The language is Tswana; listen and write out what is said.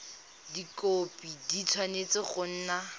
dikhopi di tshwanetse go nna